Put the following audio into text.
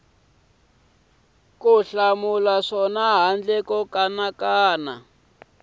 ku hlamula swona handle ko